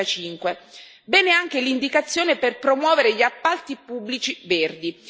2035. Bene anche l'indicazione per promuovere gli appalti pubblici verdi.